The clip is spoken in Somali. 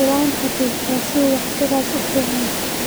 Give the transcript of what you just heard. “Waan xusuustaa sida uu wakhtigaas u fiicnaa.